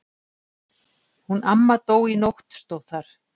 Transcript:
Hún amma dó í nótt stóð þar.